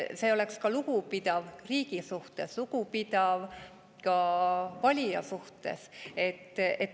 See oleks lugupidav riigi suhtes, lugupidav ka valija suhtes.